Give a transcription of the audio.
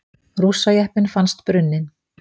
Rússajeppinn fannst brunninn